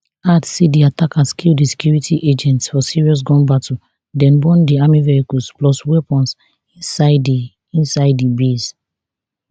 add say di attackers kill di security agents for serious gun battle den burn di army vehicles plus weapons inside di inside di base